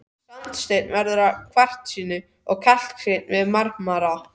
Sandsteinn verður að kvarsíti og kalksteinn að marmara.